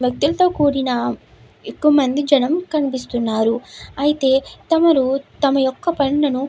కూడిన ఎక్కవ మంది జనం కనిపిస్తున్నారు అయితే తమరు తమ యొక్క పనులను --